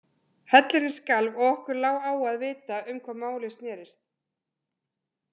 Hellirinn skalf, og okkur lá á að vita um hvað málið snerist.